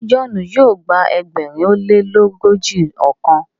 ṣe John yíò gba ẹgbẹrin o lelogojiọkan?